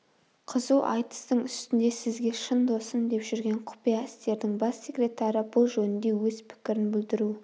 қызу айтыстың үстінде сізге шын досым деп жүрген құпия істердің бас секретары бұл жөнінде өз пікірін білдіру